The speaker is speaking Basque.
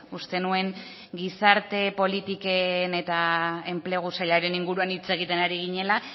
uste nuen gizarte politiken eta enplegu sailaren inguruan hitz egiten ari ginela